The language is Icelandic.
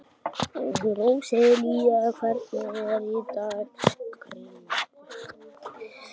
Róselía, hvernig er dagskráin?